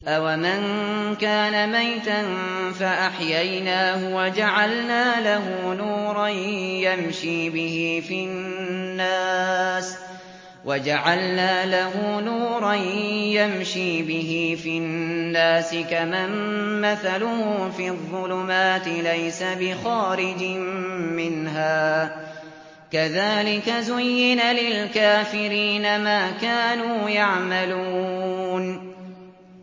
أَوَمَن كَانَ مَيْتًا فَأَحْيَيْنَاهُ وَجَعَلْنَا لَهُ نُورًا يَمْشِي بِهِ فِي النَّاسِ كَمَن مَّثَلُهُ فِي الظُّلُمَاتِ لَيْسَ بِخَارِجٍ مِّنْهَا ۚ كَذَٰلِكَ زُيِّنَ لِلْكَافِرِينَ مَا كَانُوا يَعْمَلُونَ